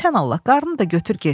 Sən Allah, qarnını da götür get.